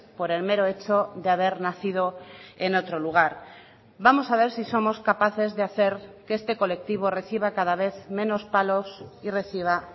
por el mero hecho de haber nacido en otro lugar vamos a ver si somos capaces de hacer que este colectivo reciba cada vez menos palos y reciba